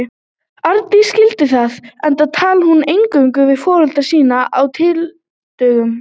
Arndís skildi það, enda talaði hún eingöngu við foreldra sína á tyllidögum.